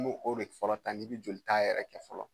N b'o o de fɔlɔ ta n'i bɛ jolita yɛrɛ kɛ fɔlɔ